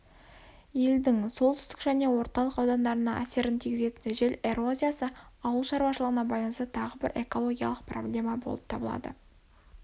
елдің солтүстік және орталық аудандарына әсерін тигізетін жел эрозиясы ауыл шарушылығына байланысты тағы бір экологиялық проблема болып табылады